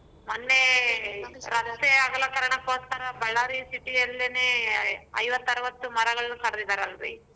ಮೊನ್ನೆ ರಾಷ್ಟ್ರೀಯ ಅಗಲಕರಣಗೋಸ್ಕರ Ballari city ಯಲ್ಲಿನೆ ಐವತ್ತು ಅರವತ್ತು ಮರಗಳನ್ನ ಕಡ್ದಿದ್ದಾರಲ್ರಿ.